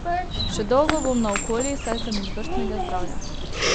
Še dolgo bom naokoli, saj sem izvrstnega zdravja.